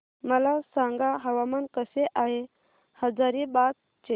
मला सांगा हवामान कसे आहे हजारीबाग चे